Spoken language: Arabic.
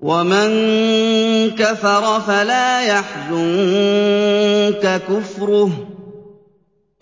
وَمَن كَفَرَ فَلَا يَحْزُنكَ كُفْرُهُ ۚ